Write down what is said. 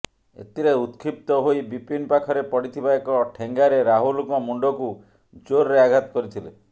ଏଥିରେ ଉତ୍କ୍ଷିପ୍ତ ହୋଇ ବିପିନ୍ ପାଖରେ ପଡ଼ିଥିବା ଏକ ଠେଙ୍ଗାରେ ରାହୁଲଙ୍କ ମୁଣ୍ଡକୁ ଜୋର୍ରେ ଆଘାତ କରିଥିଲେ